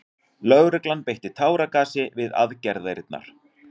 Lögregla beitti táragasi við aðgerðirnar